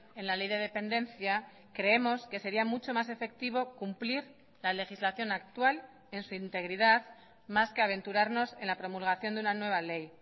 en la ley de dependencia creemos que sería mucho más efectivo cumplir la legislación actual en su integridad más que aventurarnos en la promulgación de una nueva ley